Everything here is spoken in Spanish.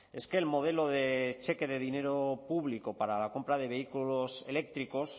es que el modelo de cheque de dinero público para la compra de vehículos eléctricos